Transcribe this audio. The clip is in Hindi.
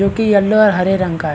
जो की येलो और हरे रंग का है।